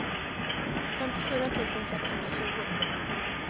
femtiofyra tusen sexhundratjugo